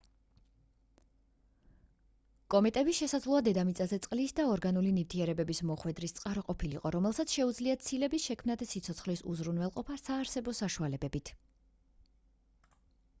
კომეტები შესაძლოა დედამიწაზე წყლის და ორგანული ნივთიერებების მოხვედრის წყარო ყოფილიყო რომელსაც შეუძლია ცილების შექმნა და სიცოცხლის უზრუნველყოფა საარსებო საშუალებებით